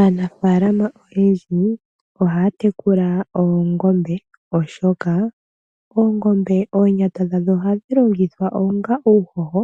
Aanafaalama oyendji oha ya tekula oongombe oshoka, oongombe, oonyata dhadho oha dhi longithwa onga uuhoho